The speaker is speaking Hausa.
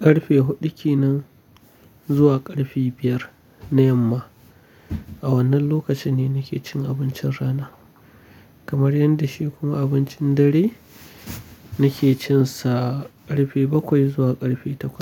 ƙarfe huɗu ki nan zuwa ƙarfe biyar na yamma. A wannan lokaci ne nake cin abincin rana, kamar yanda shi kuma abincin dare nake cin sa ƙarfe bakwai zuwa ƙarfe takwas.